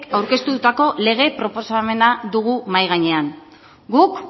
aurkeztutako lege proposamena dugu mahai gainean guk